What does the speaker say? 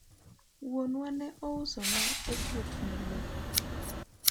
wuonna ne ouso ni osiepne lowo